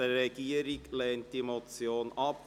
Die Regierung lehnt diese Motion ab.